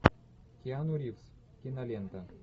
киану ривз кинолента